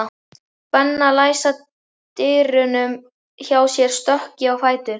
Benna læsa dyrunum hjá sér stökk ég á fætur.